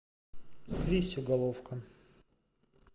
кристю головко